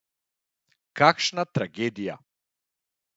Kakšna tragedija!